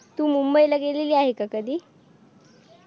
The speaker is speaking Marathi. तू मुंबईला गेलेले आहे का कधी